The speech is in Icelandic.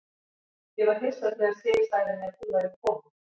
Ég var alveg hissa þegar Sif sagði mér að þú værir kominn.